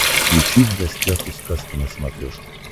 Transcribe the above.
включи в гостях у сказки на смотрешке